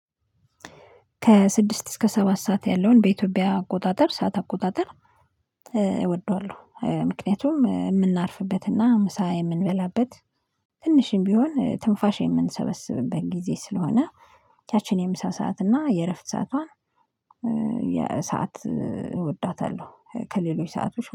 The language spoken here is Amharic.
ከስድስት እስከ ሰባት ሰዓት ያለውን በኢትዮጵያ አቆጣጠር ሰዓት አቆጣጠር። እወደዋለሁ ምክንያቱም የምናርፍበትና ምሳ የምንበላበት ትንሽም ቢሆን ትንፋሽ የምንሰበስብበት ጊዜ ስለሆነ። ያችን የምሳ ሰዓት እና የእረፍት ሰዓቷን የሰዓት እወዳታለሁ ከሌሎች ሰአቶች